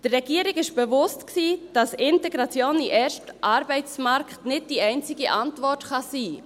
Der Regierung war bewusst, dass Integration in den ersten Arbeitsmarkt nicht die einzige Antwort sein kann.